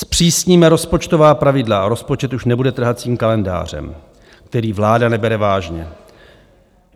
Zpřísníme rozpočtová pravidla a rozpočet už nebude trhacím kalendářem, který vláda nebere vážně.